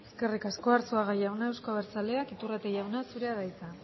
eskerrik asko unzalu jauna euzko abertzaleak iturrate jauna zurea da hitza